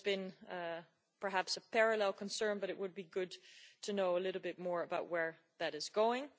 That has been perhaps a parallel concern, but it would be good to know a little bit more about where that is going.